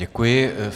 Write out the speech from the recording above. Děkuji.